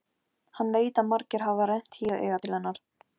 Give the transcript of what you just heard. Hann veit að margir hafa rennt hýru auga til hennar.